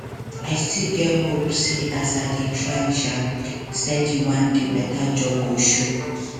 i still get hope say as i dey try um steady one day better job go show